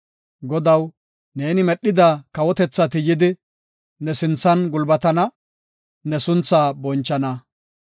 Godaw, neeni medhida kawotethati yidi, ne sinthan gulbatana; ne sunthaa bonchana.